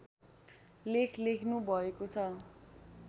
लेख लेख्नुभएको छ